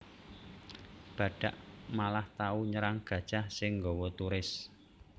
Badhak malah tau nyerang gajah sing nggawa turis